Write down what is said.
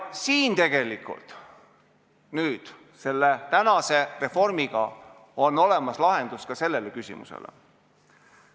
Siin selles tänases reformis on tegelikult olemas lahendus ka sellele küsimusele.